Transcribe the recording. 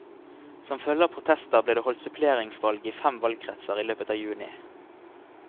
Som følge av protester ble det holdt suppleringsvalg i fem valgkretser i løpet av juni.